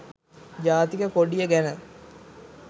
ජාතික කොඩිය ගැන